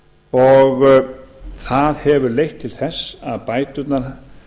og það hefur leitt til þess að bæturnar